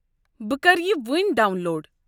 بہٕ کرٕ یہِ وٕنۍ ڈاون لوڈ۔